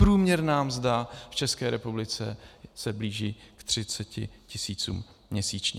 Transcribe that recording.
Průměrná mzda v České republice se blíží k 30 tisícům měsíčně.